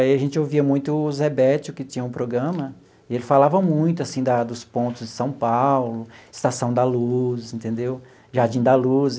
Aí a gente ouvia muito o Zé Béttio, que tinha um programa, e ele falava muito assim da dos pontos de São Paulo, Estação da Luz entendeu, Jardim da Luz.